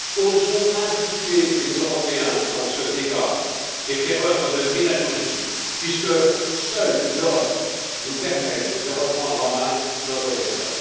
Osons impliquer les Européens dans ce débat et faire œuvre de pédagogie, puisque seule l'Europe nous permet de reprendre en main notre destin.